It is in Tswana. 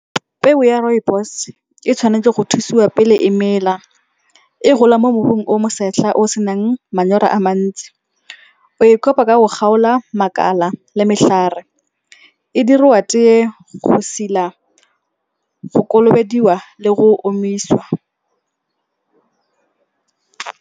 Peo ya rooibos e tshwanetse go thusiwa pele e mela. E gola mo mmung o mosetlha o senang manyora a mantsi. O e kopa ka go kgaola makala le metlhare. E diriwa tee go sila, go kolobediwa le go omisiwa.